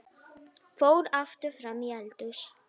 Fór aftur fram í eldhús.